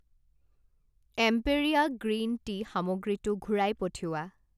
এম্পেৰীয়া green tea সামগ্ৰীটো ঘূৰাই পঠিওৱা।